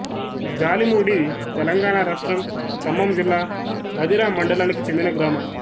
జాలిమూడి తెలంగాణ రాష్ట్రం ఖమ్మం జిల్లా మధిర మండలానికి చెందిన గ్రామం